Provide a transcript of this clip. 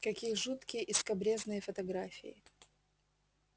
какие жуткие и скабрёзные фотографии